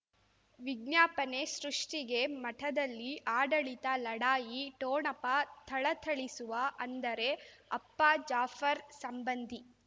ವಿಜ್ಞಾಪನೆ ಸೃಷ್ಟಿಗೆ ಮಠದಲ್ಲಿ ಆಡಳಿತ ಲಢಾಯಿ ಠೋಣಪ ಥಳಥಳಿಸುವ ಅಂದರೆ ಅಪ್ಪ ಜಾಫರ್ ಸಂಬಂಧಿ